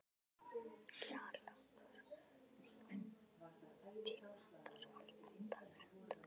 Kjallakur, einhvern tímann þarf allt að taka enda.